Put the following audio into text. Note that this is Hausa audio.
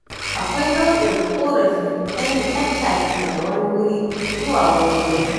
Akwai nau'in ƙorafi ta yin tattaki daga wani wuri zuwa wani wurin.